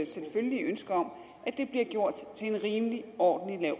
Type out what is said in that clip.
selvfølgelige ønske om at det bliver gjort til en rimelig ordentlig